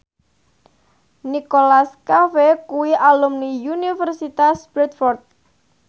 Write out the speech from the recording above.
Nicholas Cafe kuwi alumni Universitas Bradford